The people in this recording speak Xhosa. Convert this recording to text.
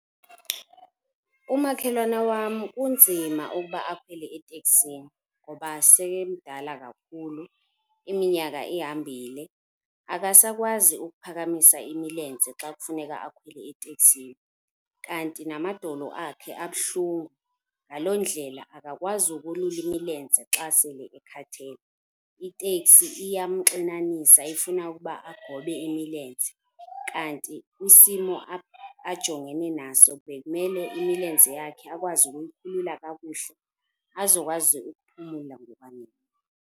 Umakhelwane wam kunzima ukuba akhwele etekisini ngoba sele emdala kakhulu, iminyaka ihambile, akasakwazi ukuphakamisa imilenze xa kufuneka akhwele etekisini. Kanti namadolo akhe abuhlungu. Ngaloo ndlela akakwazi ukolula imilenze xa sele ekhathele. Itekisi iyamxinanisa ifuna ukuba agobe imilenze, kanti kwisimo ajongene naso bekumele imilenze yakhe akwazi ukuyolula kakuhle azokwazi ukuphumula ngokwaneleyo.